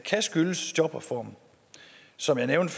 skyldes jobreformen som jeg nævnte